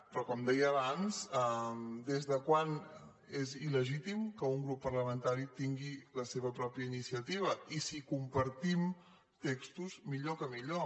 però com deia abans des de quan és il·grup parlamentari tingui la seva pròpia iniciativa i si compartim textos millor que millor